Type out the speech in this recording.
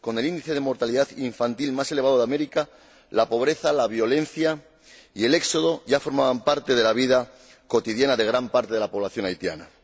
Con el índice de mortalidad infantil más elevado de América, la pobreza, la violencia y el éxodo ya formaban parte de la vida cotidiana de gran parte de la población haitiana.